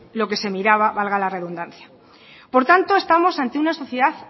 lo que se miraba valga la redundancia por tanto estamos ante una sociedad